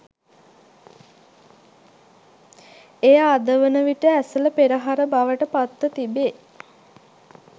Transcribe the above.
එය අද වන විට ඇසළ පෙරහර බවට පත්ව තිබේ.